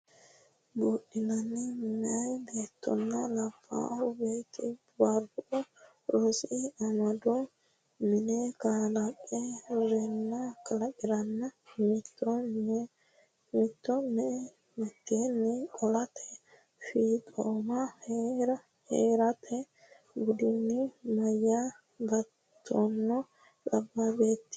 budinni meyaa beettonna labbaa beetti Barru Rosi Amado mine kalaqa renna mittoo me mitteenni Qaallate Fiixooma hee rate budinni meyaa beettonna labbaa beetti.